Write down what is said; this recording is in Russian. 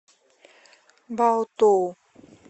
баотоу